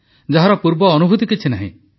ଯାହାର ପୂର୍ବ ଅନୁଭୂତି କିଛି ନାହିଁ